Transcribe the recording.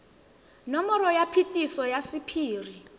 nomoro ya phetiso ya sephiri